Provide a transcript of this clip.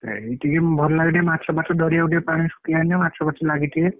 ହୁଁ ଏଇ ଟିକେ ଭଲ ଲାଗେ ଟିକେ ମାଛ ଫାଛ ଧରିବା ପାଇଁ ପାଣି ସୁକି ଯାଇଥିବ ମାଛ ଫାଛ ଲାଗିଥିବେ।